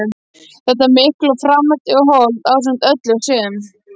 Þetta mikla og framandi hold ásamt öllu sem